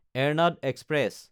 Ernad express